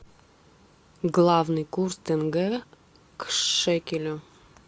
главный курс тенге к шекелю